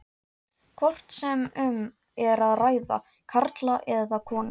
hvort sem um er að ræða karla eða konur.